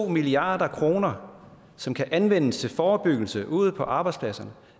milliard kr som kan anvendes til forebyggelse ude på arbejdspladserne